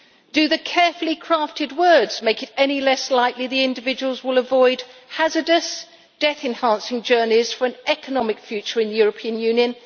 Do the carefully crafted words make it any less likely the individuals will avoid hazardous, death enhancing journeys for an economic future in the European Union?